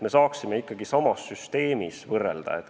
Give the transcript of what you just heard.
Me saame võrrelda ikkagi sama süsteemi andmeid.